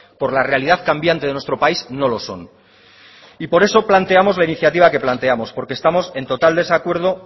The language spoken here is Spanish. por la realidad cambiante de nuestro país no lo son y por eso planteamos la iniciativa que planteamos porque estamos en total desacuerdo